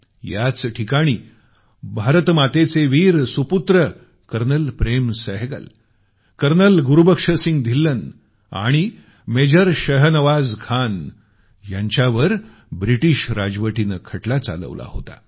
याच ठिकाणी भारतमातेचे वीर सुपुत्रकर्नल प्रेम सहगल कर्नल गुरुबक्षसिंग धिल्लन आणि मेजर जनरल शहनवाज खान यांच्यावर ब्रिटीश राजवटीनं खटला चालवला होता